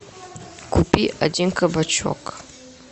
купи один кабачок